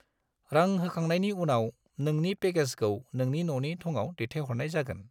रां होखांनायनि उनाव, नोंनि पैकेजखौ नोंनि न'नि थङाव दैथायहरनाय जागोन।